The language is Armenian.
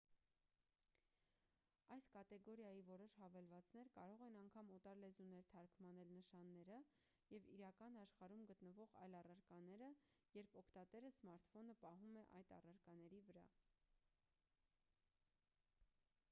այս կատեգորիայի որոշ հավելվածներ կարող են անգամ օտար լեզուներ թարգմանել նշանները և իրական աշխարհում գտնվող այլ առարկաները երբ օգտատերը սմարթֆոնը պահում է այդ առարկաների վրա